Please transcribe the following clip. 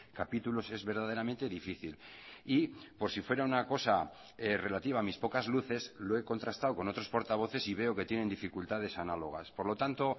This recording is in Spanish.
capítulos es verdaderamente difícil y por si fuera una cosa relativa a mis pocas luces lo he contrastado con otros portavoces y veo que tienen dificultades análogas por lo tanto